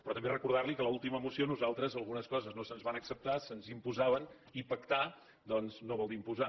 però també recordar li que a l’última moció a nosaltres algunes coses no se’ns van acceptar se’ns imposaven i pactar doncs no vol dir imposar